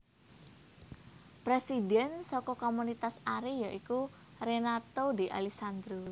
Presidhèn saka Komunitas Ari ya iku Renato D Alessandro